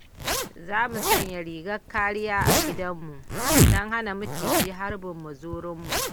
Za mu sanya ragar kariya a gidanmu don hana maciji harbin muzurunmu.